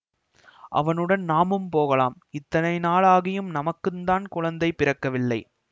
அவனுடன் நாமும் போகலாம் இத்தனை நாள் ஆகியும் நமக்குந்தான் குழந்தை பிறக்கவில்லை